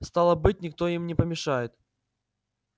стало быть никто им не помешает